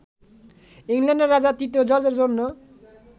ইংল্যান্ডের রাজা তৃতীয় জর্জের জন্য